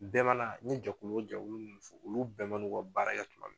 Bɛɛ n ye jɛkulu o jɛkulu mun fɔ olu bɛɛ mana u ka baara tuma min